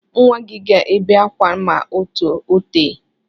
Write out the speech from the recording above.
Nwa gị ga-ebe akwa ma ọ tee.